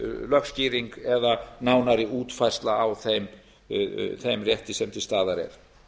lögskýring eða nánari útfærsla á þeim rétti sem til staðar er